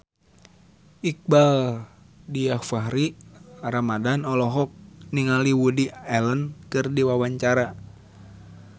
Iqbaal Dhiafakhri Ramadhan olohok ningali Woody Allen keur diwawancara